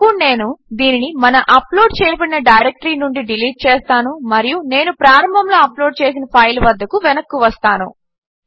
ఇప్పుడు నేను దీనిని మన అప్లోడ్ చేయబడిన డైరెక్టరీ నుండి డిలీట్ చేస్తాను మరియు నేను ప్రారంభములో అప్లోడ్ చేసిన ఫైల్ వద్దకు వెనక్కు వస్తాను